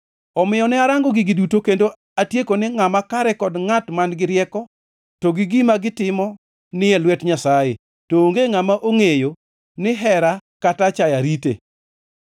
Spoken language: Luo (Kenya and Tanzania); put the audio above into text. Omiyo ne arango gigi duto kendo atieko ni ngʼama kare kod ngʼat man-gi rieko to gi gima gitimo ni e lwet Nyasaye, to onge ngʼama ongʼeyo ni hera kata achaya rite.